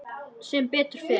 Sem betur fer?